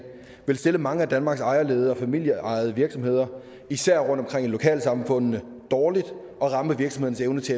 vil stille mange af danmarks ejerledede og familieejede virksomheder især rundtomkring i lokalsamfundene dårligt og ramme virksomhedernes